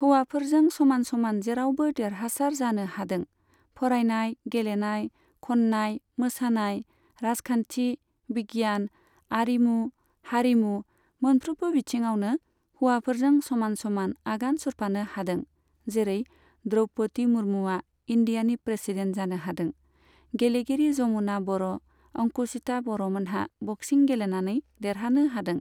हौवाफोरजों समान समान जेरावबो देरहासार जानो हादों। फरायनाय, गेलेनाय, खननाय, मोसानाय, राजखान्थि, बिगियान, आरिमु, हारिमु मोनफ्रोमबो बिथिङावनो हौवाफोरजों समान समान आगान सुरफानो हादों, जेरै द्रौपदि मुरमुआ इण्डियानि प्रेसिडेन्ट जानो हादों, गेलेगिरि जमुना बर' अंकुसिथा बर'मोनहा बक्सिं गेलेनानै देरहानो हादों।